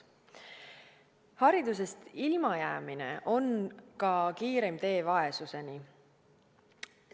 Haridusest ilmajäämine on ka kiireim tee vaesuseni.